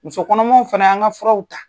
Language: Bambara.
Musokɔnɔmaw fana an ka furaw ta